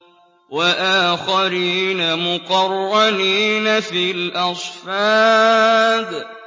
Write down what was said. وَآخَرِينَ مُقَرَّنِينَ فِي الْأَصْفَادِ